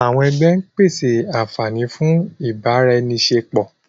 àwọn ẹgbẹ ń pese anfani fun ibaraenisepo.